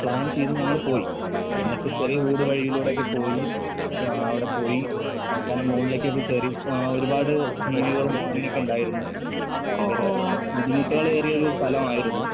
Plan ചെയ്ത് ഞങ്ങള് പോയി. എന്നിട്ട് ചെറിയ ഊടുവഴിയിലൂടെയൊക്കെ പോയി വാ അവടെ പോയി അവസാനം മോളിലേക്കൊക്കെ കേറി ഏഹ് ഒരുപാട് ജീവികളും അങ്ങനെയൊക്കിണ്ടായിരുന്നു. ഭയങ്കര ബുദ്ധിമുട്ടകളേറിയ ഒരു സ്ഥലവായിരുന്നു.